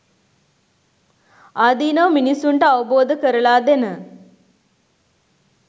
ආදීනව මිනිස්සුන්ට අවබෝධ කරලා දෙන